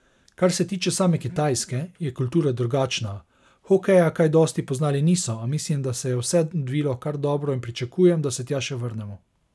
Kar se tiče same Kitajske, je kultura drugačna, hokeja kaj dosti poznali niso, a mislim, da se je vse odvilo kar dobro in pričakujem, da se tja še vrnemo.